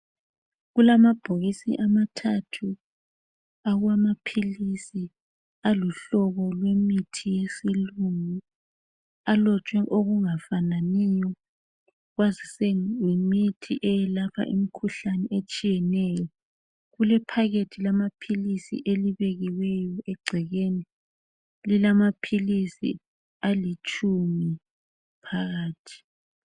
Kulamabhokisi amathathu awamaphilizi aluhlobo lwemithi yesilungu alotshwe okungafananiyo kwazise yimithi eyelapha imkhuhlane etshiyeneyo kule "packet" lamaphilizi elibekiweyo egcekeni lilamaphilisi alitshumi phakathi.